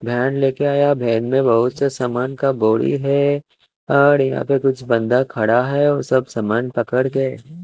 bag लेके आया है बैग में बोहोत से सामान का बोरी है और यहाँ पे कुछ बन्दा खड़ा है सब सामान पकड़ के --